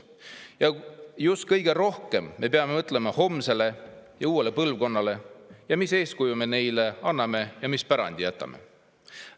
Ja just kõige rohkem peame mõtlema homsele ja uuele põlvkonnale ja, millist eeskuju me neile anname ja mis pärandi jätame.